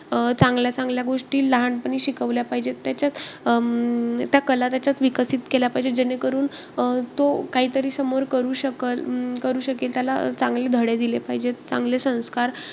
अं चांगल्या चांगल्या गोष्टी लहानपणी शिकवल्या पाहिजेत. त्याच्यात अं त्या कला त्याच्यात विकसित केले पाहिजेत. जेणेकरून अं तो काहीतरी समोर करू शकल~ करू शकेल. त्याला चांगले धडे दिले पाहिजेत. चांगले संस्कार,